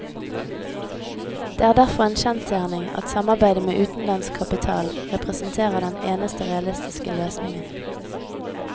Det er derfor en kjensgjerning at samarbeidet med utenlandsk kapital representerer den eneste realistiske løsningen.